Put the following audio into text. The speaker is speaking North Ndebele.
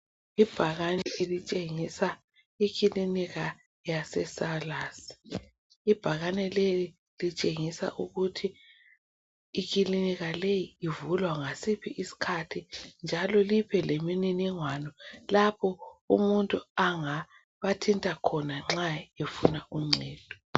Ibhakani elitshengisa ikilinika yase Salus. Ibhakani leli litshengisa ukuthi ikilinika leyi ivulwa ngasiphi isikhathi njalo libe lemniningwano lapho umuntu angabathinta khona nxa befuna uncedo.